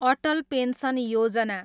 Atal pension Yojana